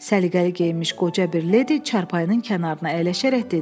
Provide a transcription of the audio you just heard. Səliqəli geyinmiş qoca bir ledi çarpayının kənarına əyləşərək dedi.